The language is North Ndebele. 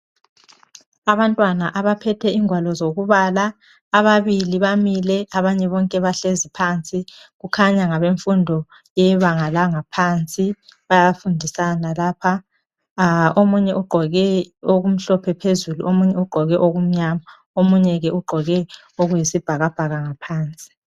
Abantwana abaphethe ingwalo zokubala ababili bamile abanye bonke bahlezi kukhanya ngabe yebanga langaphansi bayafundisana lapha omunye ugqoke, oku mhlophe phezulu omunye ugqoke, okumnyama omunye ke ugqoke okuyisibhakabhaka ngaphansi.